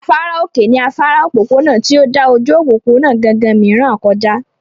Afárá òkè ní afárá òpópónà tí ó dà ojú òpópónà gangan mìíràn kọ já